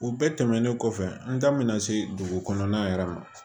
U bɛɛ tɛmɛnen kɔfɛ n da mɛna se dugu kɔnɔna yɛrɛ ma